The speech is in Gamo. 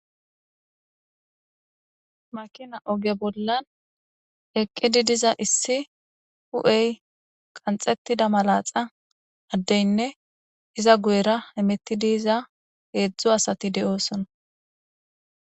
Makina oge bolla eqqida diza issi addey hu'e qanxxetida woyko malaxa addeynne iza guyera hemetidi diza hedzu asati de'oosona.